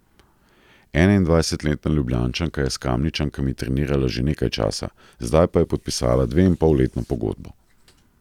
Enaindvajsetletna Ljubljančanka je s Kamničankami trenirala že nekaj časa, zdaj pa je podpisala dveinpolletno pogodbo.